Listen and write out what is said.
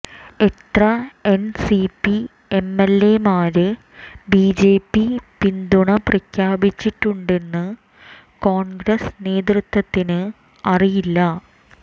എത്ര എന്സിപി എംഎല്എമാര് ബിജെപിക്ക് പിന്തുണ പ്രഖ്യാപിച്ചിട്ടുണ്ടെന്ന് കോണ്ഗ്രസ് നേതൃത്വത്തിന് അറിയില്ല